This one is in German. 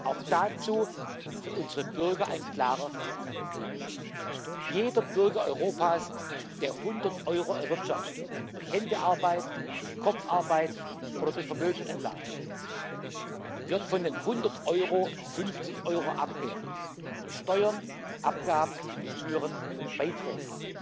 Auch dazu für unsere Bürger ein klarer Satz Jeder Bürger Europas, der 100 Euro erwirtschaftet durch seiner Hände Arbeit, durch Kopfarbeit oder durch Vermögensanlage, wird von den 100 Euro 50 Euro abgeben durch Steuern, Abgaben, Gebühren und Beiträge.